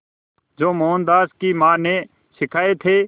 जो मोहनदास की मां ने सिखाए थे